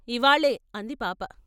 ఇవ్వాళే " అంది పాప.